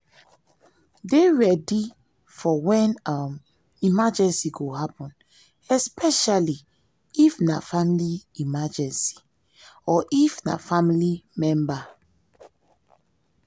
dey ready for when um emergency go happen um especially um if na family emergency or if na family member